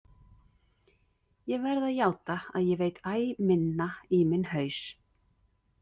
Ég verð að játa að ég veit æ minna í minn haus.